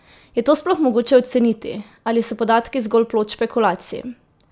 Je to sploh mogoče oceniti, ali so podatki zgolj plod špekulacij?